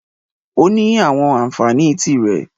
Ó ní àwọn ànfàní tí rẹ̀.